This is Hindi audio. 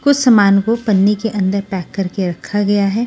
कुछ सामान को पन्नी के अंदर पैक करके रखा गया है।